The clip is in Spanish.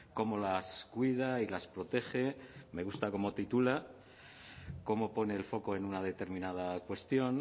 cómo las cuida y las protege me gusta cómo titula cómo pone el foco en una determinada cuestión